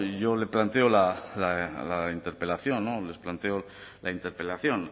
yo le planteo la interpelación no les planteo la interpelación